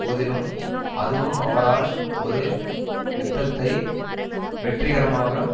போதிலும் அதுவும் அவரால் ஒரு யுத்தத்தை வெற்றிகரமாக